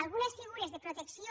algunes figures de protecció